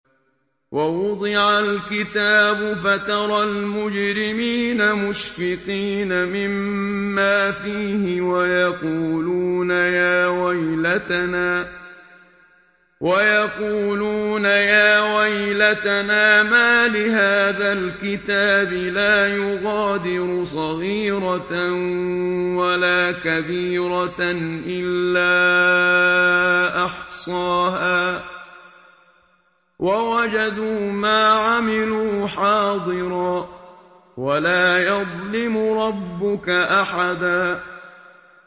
وَوُضِعَ الْكِتَابُ فَتَرَى الْمُجْرِمِينَ مُشْفِقِينَ مِمَّا فِيهِ وَيَقُولُونَ يَا وَيْلَتَنَا مَالِ هَٰذَا الْكِتَابِ لَا يُغَادِرُ صَغِيرَةً وَلَا كَبِيرَةً إِلَّا أَحْصَاهَا ۚ وَوَجَدُوا مَا عَمِلُوا حَاضِرًا ۗ وَلَا يَظْلِمُ رَبُّكَ أَحَدًا